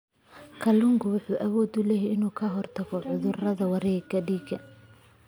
Kalluunku wuxuu awood u leeyahay inuu ka hortago cudurrada wareegga dhiigga.